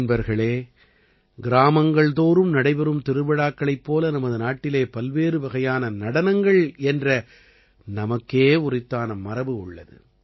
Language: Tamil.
நண்பர்களே கிராமங்கள்தோறும் நடைபெறும் திருவிழாக்களைப் போல நமது நாட்டிலே பல்வேறு வகையான நடனங்கள் என்ற நமக்கே உரித்தான மரபு உள்ளது